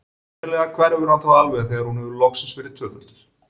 Sennilega hverfur hann þá alveg þegar hún hefur loksins verið tvöfölduð.